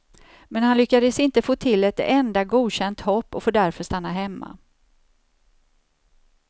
Men han lyckades inte få till ett enda godkänt hopp och får därför stanna hemma.